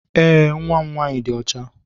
Ee, Nwa m nwaanyị dị ọcha.